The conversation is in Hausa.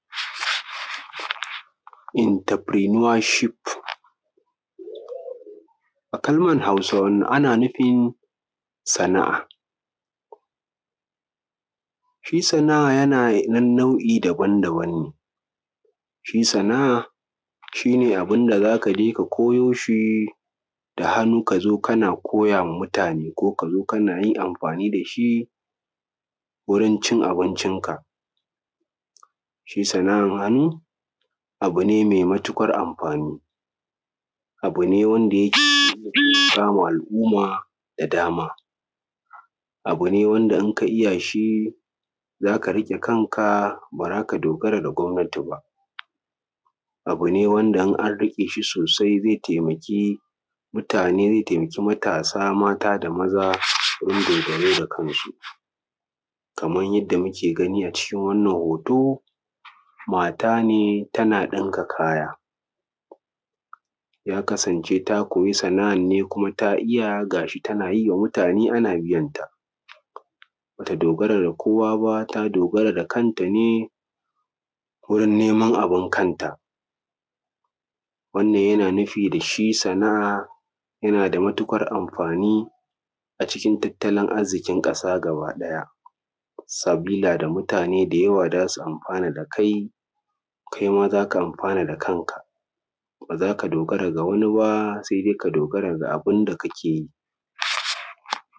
Enterprenuership. A kalmar Hausa, wannan ana nufin sana’a. shi sana’a yana da nau’i daban daban ne. shi sana’a shi ne abin da za ka je ka koyo shi da hannu, ka zo kana koya ma mutane, ko ka zo kana yin amfani da shi wurin cin abincinka. Shi sana’an hannu abu ne mai matuƙar amfani, abu ne wanda yake taimaka ma al’umma da dama. Abu ne wanda idan ka iya shi za ka dogara da kanka, ba za ka dogara da gwamnati ba. Abu ne wanda in an riƙe shi sosai zai taimaki taimaki mutane, zai taimaki matasa mata da maza, gurin dogaro da kansu, kaman yanda muke gani a cikin wannan hoto, mata ne tana ɗinka kaya, ya kasance ta koyi sana’an ne kuma ta iya, ga shi tana yi wa mutane kuma ana biyanta, ba ta dogara da kowa ba, ta dogara da kanta ne wurin neman abin kanta. Wannan yana nufi da shi sana’a, yana da matuuƙar amfani a cikin tattalin arziƙin ƙasa gaba ɗaya, sabila da mutane da yawa mutane za su amfana da kai, kai ma za ka amfana da kanka,, ba za ka dogara da wani ba, sai dai ka dogara da abin da kake yi.